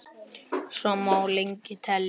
Svo má lengi telja.